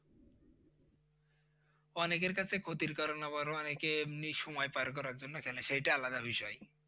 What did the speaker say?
অনেকের কাছে ক্ষতির কারন আবার অনেকে এমনি সময় পার করার জন্য খেলে সেইটা আলাদা বিষয়।